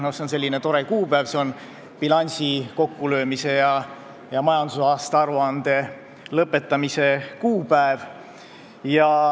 See on selline tore kuupäev, mis on bilansi kokkulöömise ja majandusaasta aruande lõpetamise päev.